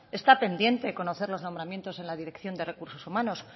está pendiente de conocer los nombramientos en la dirección de recursos humanos